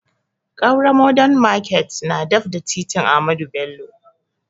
Ƙaura modern market na daf da titin ahamadu bello